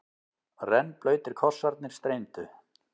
Rennblautir kossarnir streymdu.